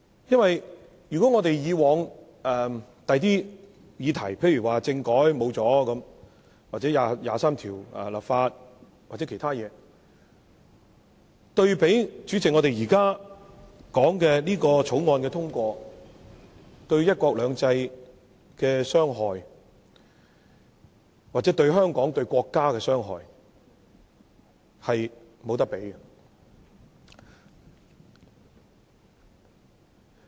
因為以往的其他議題，例如政改拉倒了或就《基本法》第二十三條立法等，對比我們現時討論的《廣深港高鐵條例草案》的通過，對"一國兩制"、香港或國家的傷害，是無法比擬的。